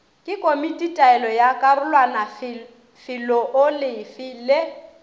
ke komititaolo ya karolwanafeloolefe le